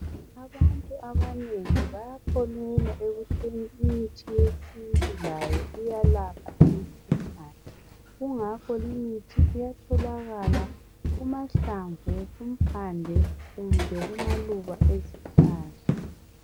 abantu abanengi bayakholelwa ekutheni imithi yesintu layo iyalapha imikhuhlane kungakho le imithi iyatholakala kumahlamvu kumpande kumbe kumaluba ezihlahla